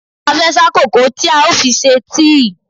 A fẹ́ sá kòkó tí a ó fi ṣe tíì.